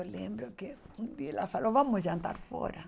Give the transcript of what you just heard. Eu lembro que um dia ela falou, vamos jantar fora.